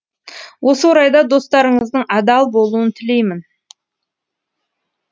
осы орайда достарыңыздың адал болуын тілеймін